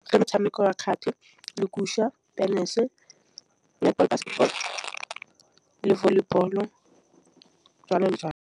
Motšhameko wa kgati tenese, le volleyball, jwalojwalo.